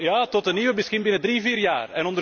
Ja, tot de nieuwe, misschien binnen drie, vier jaar.